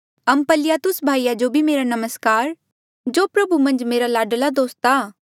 अम्पलियातुस भाई जो भी मेरा नमस्कार जो प्रभु मन्झ मेरा लाडला दोस्त आ